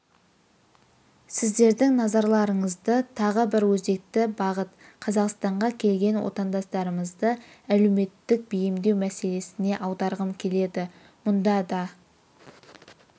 сіздердің назарларыңызды тағы бір өзекті бағыт қазақстанға келген отандастарымызды әлеуметтік бейімдеу мәселесіне аударғым келеді мұнда да